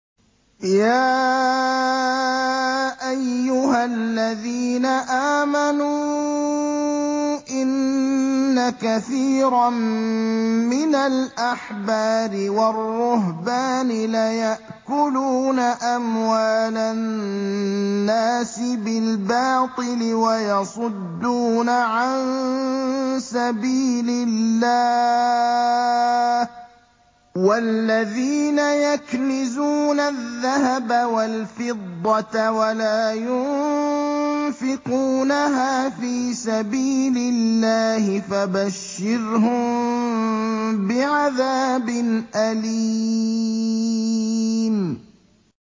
۞ يَا أَيُّهَا الَّذِينَ آمَنُوا إِنَّ كَثِيرًا مِّنَ الْأَحْبَارِ وَالرُّهْبَانِ لَيَأْكُلُونَ أَمْوَالَ النَّاسِ بِالْبَاطِلِ وَيَصُدُّونَ عَن سَبِيلِ اللَّهِ ۗ وَالَّذِينَ يَكْنِزُونَ الذَّهَبَ وَالْفِضَّةَ وَلَا يُنفِقُونَهَا فِي سَبِيلِ اللَّهِ فَبَشِّرْهُم بِعَذَابٍ أَلِيمٍ